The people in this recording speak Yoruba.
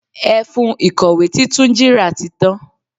Ẹfun ìkọ̀wé tí Túnjí ra tí tan.